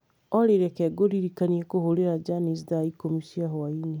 Olly, reke ngũririkanie kũhũrĩra Janice thaa ikũmi cia hwaĩ-inĩ